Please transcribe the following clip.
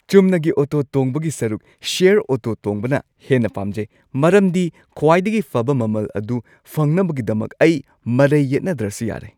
ꯆꯨꯝꯅꯒꯤ ꯑꯣꯇꯣ ꯇꯣꯡꯕꯒꯤ ꯁꯔꯨꯛ ꯁꯦꯌꯔ ꯑꯣꯇꯣ ꯇꯣꯡꯕꯅ ꯍꯦꯟꯅ ꯄꯥꯝꯖꯩ ꯃꯔꯝꯗꯤ ꯈ꯭ꯋꯥꯏꯗꯒꯤ ꯐꯕ ꯃꯃꯜ ꯑꯗꯨ ꯐꯪꯅꯕꯒꯤꯗꯃꯛ ꯑꯩ ꯃꯔꯩ ꯌꯦꯠꯅꯗ꯭ꯔꯁꯨ ꯌꯥꯔꯦ ꯫